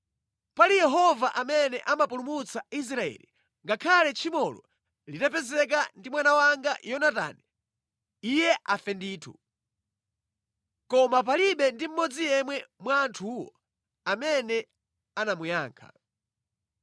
Pali Yehova amene amapulumutsa Israeli, ngakhale tchimolo litapezeka ndi mwana wanga Yonatani, iye afe ndithu.” Koma palibe ndi mmodzi yemwe mwa anthuwo amene anamuyankha.